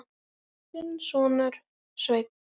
Þinn sonur, Sveinn.